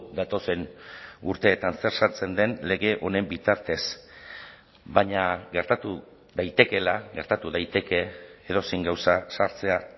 datozen urteetan zer sartzen den lege honen bitartez baina gertatu daitekeela gertatu daiteke edozein gauza sartzea